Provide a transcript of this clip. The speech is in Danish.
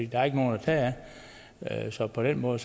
der er ikke nogen at tage af så på den måde